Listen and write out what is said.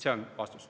See on vastus.